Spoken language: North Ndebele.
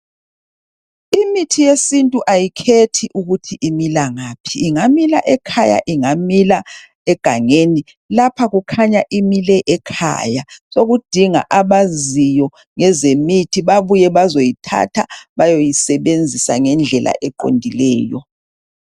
Imithi yesintu ayikhethi ukuthi imila ngaphi, ingamila ekhaya, ingamila egangeni lapha kukhanya imile ekhaya sokudinga abaziyo ngezemithi babuye bazoyithatha bayoyisebenzisa ngendlela eqondileyo .